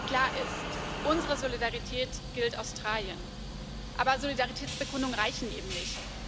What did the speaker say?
Klar ist Unsere Solidarität gilt Australien, aber Solidaritätsbekundungen reichen eben nicht.